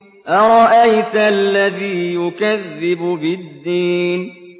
أَرَأَيْتَ الَّذِي يُكَذِّبُ بِالدِّينِ